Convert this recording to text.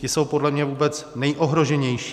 Ti jsou podle mě vůbec nejohroženější.